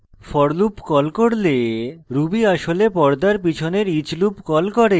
for loop কল করলে ruby আসলে পর্দার পিছনের each loop কল করে